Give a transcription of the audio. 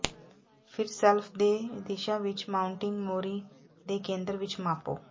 ਫਿਰ ਸ਼ੈਲਫ ਦੇ ਦਿਸ਼ਾ ਵਿੱਚ ਮਾਊਂਟਿੰਗ ਮੋਰੀ ਦੇ ਕੇਂਦਰ ਵਿੱਚ ਮਾਪੋ